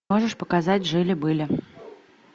можешь показать жили были